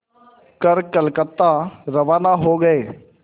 कर कलकत्ता रवाना हो गए